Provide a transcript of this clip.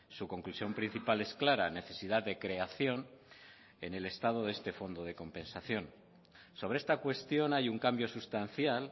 su conclusión principal es clara necesidad de creación en el estado de este fondo de compensación sobre esta cuestión hay un cambio sustancial